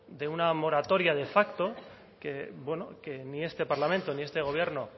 de una moratoria de facto que bueno que ni este parlamento ni este gobierno